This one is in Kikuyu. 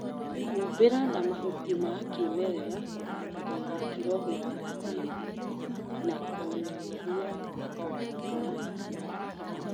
Humbĩra na mahuti ma kĩmerera kũambatĩria gĩkĩro gia tĩri na kũnyihia gũkũra kwa ria